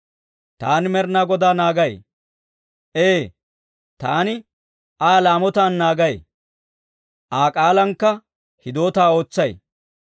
Taani Med'inaa Godaa naagay; ee, taani Aa laamotaan naagay; Aa k'aalankka hidootaa ootsay.